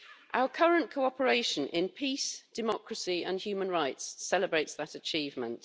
Our current cooperation in peace, democracy and human rights celebrates that achievement.